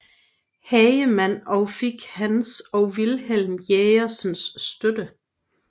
Hagemann og fik hans og Vilhelm Jørgensens støtte